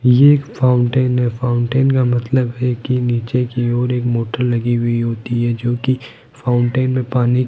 ये एक फाउंटेन है फाउंटेन का मतलब है कि नीचे की ओर एक मोटर लगी हुई होती है जो की फाउंटेन में पानी --